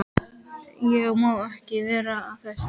Ég má ekki vera að þessu.